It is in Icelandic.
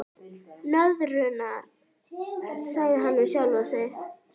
Nöðrurnar, sagði hann við sjálfan sig.